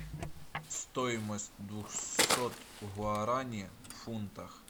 стоимость двухсот гуарани в фунтах